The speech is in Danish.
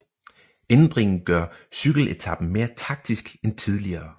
Ændringen gør cykeletapen mere taktisk end tidligere